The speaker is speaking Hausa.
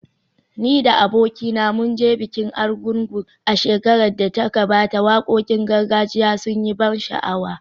Ni da abokina mun je bikin Argungu a shekarar da ta gabata, wakokin gargajiya sun yi ban sha’awa